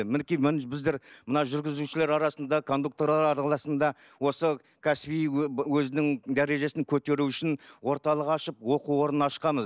мінекей біздер мына жүргізушілер арасында кондукторлар арасында осы кәсіби өзінің дәрежесін көтеру үшін орталық ашып оқу орнын ашқанбыз